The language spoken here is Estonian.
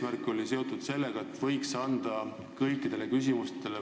See oli seotud eesmärgiga anda võimalus vastata kõikidele põhiküsimustele.